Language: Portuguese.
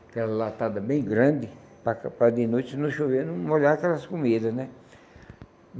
Aquela latada bem grande, para para de noite, se não chover, não molhar aquelas comidas, né?